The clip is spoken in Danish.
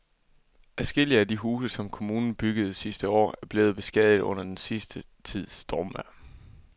Adskillige af de huse, som kommunen byggede sidste år, er blevet beskadiget under den sidste tids stormvejr.